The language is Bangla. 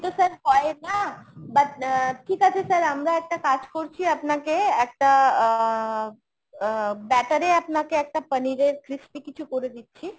তো sir হয় না। but আহ ঠিক আছে sir আমরা একটা কাজ করছি আপনাকে একটা আহ batter এ আপনাকে একটা পনিরের crispy কিছু করে দিচ্ছি।